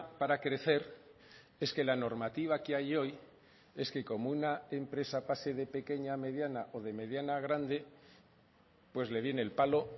para crecer es que la normativa que hay hoy es que como una empresa pase de pequeña a mediana o de mediana a grande pues le viene el palo